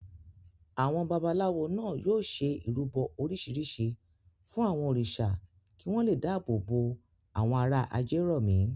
Àwọn babaláwo náà yóò ṣe ìrúbọ oríṣiríṣi fún àwọn òrìṣà kí wọ́n le dáàbò bo àwọn ará Ajérọ̀mí.